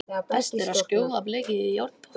Best er að sjóða blekið í járnpotti.